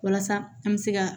Walasa an bɛ se ka